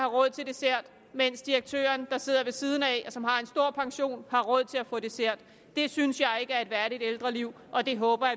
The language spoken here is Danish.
råd til dessert mens direktøren der sidder ved siden af og som har en stor pension har råd til at få dessert det synes jeg ikke er et værdigt ældreliv og det håber